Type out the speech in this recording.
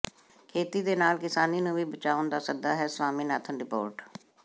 ਖੇਤੀ ਦੇ ਨਾਲ ਕਿਸਾਨੀ ਨੂੰ ਵੀ ਬਚਾਉਣ ਦਾ ਸੱਦਾ ਹੈ ਸਵਾਮੀਨਾਥਨ ਰਿਪੋਰਟ